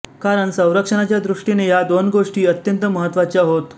कारण संरक्षणाच्या दृष्टीने ह्या दोन गोष्टी अत्यंत महत्त्वाच्या होत